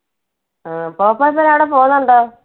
ആ പോപ്പോ ഇപ്പോഴും അവിടെ പോകുന്നുണ്ടോ?